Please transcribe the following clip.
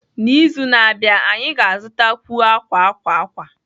N'izu na-abịa, anyị ga-azụtakwu akwa akwa akwa